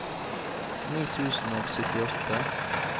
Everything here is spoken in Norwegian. ni tusen og syttiåtte